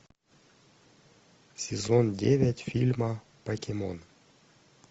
сезон девять фильма покемон